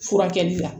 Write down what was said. Furakɛli la